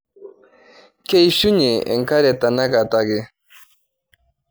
Keishunye enkare tenakata ake.